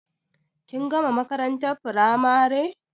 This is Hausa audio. Kin gama makarantar firamare